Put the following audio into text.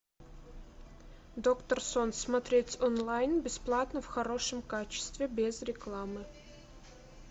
доктор сон смотреть онлайн бесплатно в хорошем качестве без рекламы